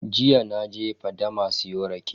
Jiya naje fadama siyo rake.